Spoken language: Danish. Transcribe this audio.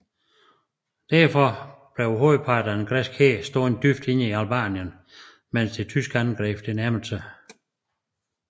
Derfor blev hovedparten af den græske hær stående dybt inde i Albanien mens det tyske angreb nærmede sig